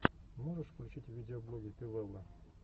можешь включить видеоблоги пи вэлла